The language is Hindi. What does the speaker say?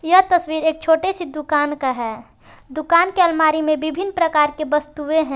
यह तस्वीर एक छोटे से दुकान का है। दुकान के अलमारी में विभिन्न प्रकार के वस्तुएं हैं।